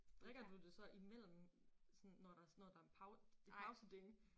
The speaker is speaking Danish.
Drikker du det så imellem sådan når der når der en et pauseding